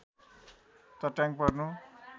चट्याङ पर्नु